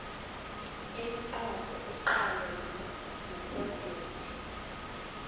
iminqopho eqalene nephrojekhthi